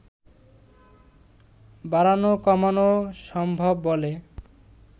বাড়ানো কমানো সম্ভব বলে